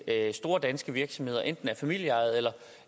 at store danske virksomheder enten er familieejede